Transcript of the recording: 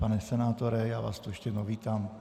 Pane senátore, já vás tu ještě jednou vítám.